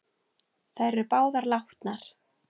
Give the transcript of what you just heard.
Þær eru báðar látnar.